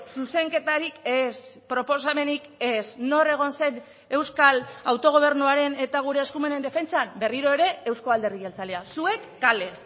zuzenketarik ez proposamenik ez nor egon zen euskal autogobernuaren eta gure eskumenen defentsan berriro ere euzko alderdi jeltzalea zuek kale